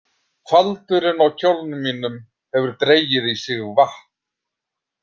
Faldurinn á kjólnum mínum hefur dregið í sig vatn.